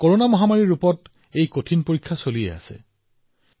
corona মহামাৰী হিচাপে ইমান ডাঙৰ পৰীক্ষা নিৰন্তৰ ভাৱে চলি আছে